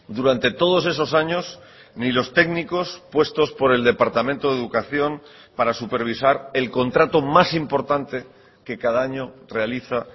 durante todos esos años ni los técnicos puestos por el departamento de educación para supervisar el contrato más importante que cada año realiza